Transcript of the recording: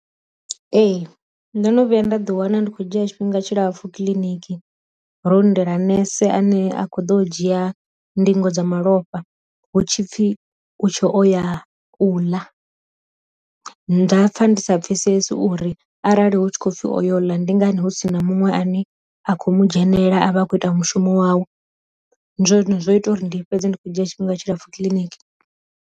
Ee ndo no vhuya nda ḓi wana ndi kho dzhia tshifhinga tshilapfu kiḽiniki ro lindela nese ane a kho ḓo dzhia ndingo dza malofha hu tshipfi u tsho o ya u ḽa, nda pfha ndi sa pfhesesi uri arali hu tshi khou pfhi oyo ḽa ndi ngani hu si na muṅwe ane a kho mu dzhenela avha akho ita mushumo wawe, ndi zwone zwine zwo ita uri ndi fhedza ndi khou dzhia tshifhinga tshilapfu kiḽiniki.